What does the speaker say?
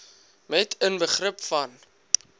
met inbegrip van